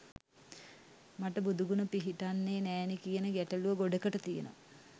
මට බුදුගුණ පිහිටන්නේ නෑනේ කියන ගැටලුව ගොඩකට තියෙනවා.